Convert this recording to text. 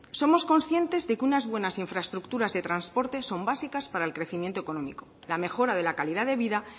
somos conscientes de que unas buenas infraestructuras de transporte son básicas para el crecimiento económico la mejora de la calidad de vida